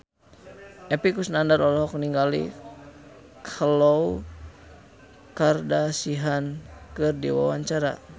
Epy Kusnandar olohok ningali Khloe Kardashian keur diwawancara